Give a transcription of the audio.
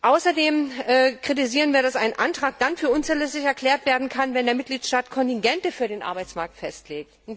Außerdem kritisieren wir, dass ein Antrag dann für unzulässig erklärt werden kann, wenn der Mitgliedstaat Kontingente für den Arbeitsmarkt festlegt.